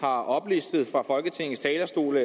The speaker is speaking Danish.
har oplistet fra folketingets talerstol